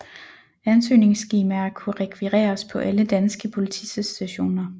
Ansøgningsskemaer kunne rekvireres på alle danske politistationer